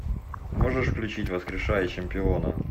можешь включить воскрешая чемпиона